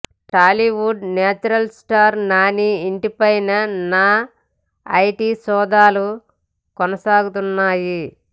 Tollywood natural star Nani ఇంటి పైన నా ఐటీ సోదాలు కొనసాగుతున్నాయి